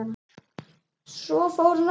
Svo fór hann að flissa.